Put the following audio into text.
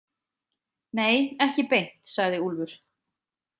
Nei, ekki beint, sagði Úlfur.